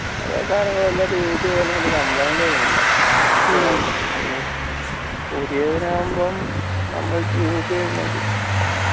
പഴേ സാധനങ്ങൾ use ചെയ്താലും വലിയ complaint വരുന്നില്ല അതാണ് അതിൻറെ ഒരു കുഴപ്പം പുതിയതിനാവുമ്പം നമ്മള് use